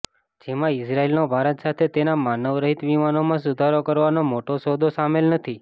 જેમાં ઇઝરાયલનો ભારત સાથે તેના માનવ રહિત વિમાનોમાં સુધારો કરવાનો મોટો સૌદો સામેલ નથી